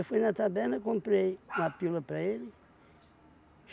Eu fui na taberna, comprei uma pílula para ele.